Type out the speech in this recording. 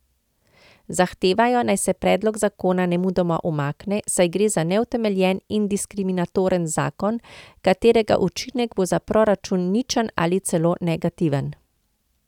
Zahtevajo, naj se predlog zakona nemudoma umakne, saj gre za neutemeljen in diskriminatoren zakon, katerega učinek bo za proračun ničen ali celo negativen.